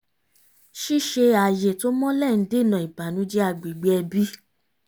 ṣíṣe ààyè tó mọ́lẹ̀ ń dènà ìbànújẹ́ agbègbè ẹbí